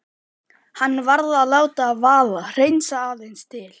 Hann varð að láta það vaða, hreinsa aðeins til.